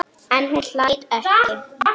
En hún hlær ekki.